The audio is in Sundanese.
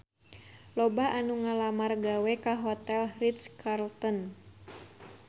Loba anu ngalamar gawe ka Hotel Ritz-Carlton